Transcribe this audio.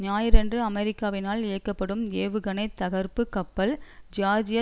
ஞாயிறன்று அமெரிக்காவினால் இயக்கப்படும் ஏவுகணை தகர்ப்புக் கப்பல் ஜியார்ஜிய